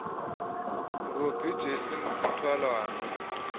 robbie jansen sisthwalandwe